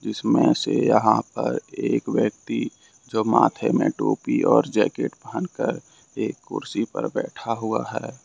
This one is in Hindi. इसमें से यहां पर एक व्यक्ति जो माथे में एक टोपी और जैकेट पहन कर एक कुर्सी पर बैठा हुआ है।